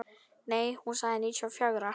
Nei, hún sagði níutíu og fjögra.